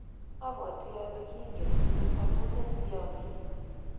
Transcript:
abwatii ale kingentugul amune siomii yu.